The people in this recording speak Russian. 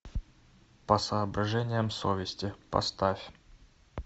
по соображениям совести поставь